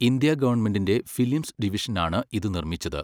India ഗവൺമെന്റിന്റെ films ഡിവിഷനാണ് ഇത് നിർമ്മിച്ചത്.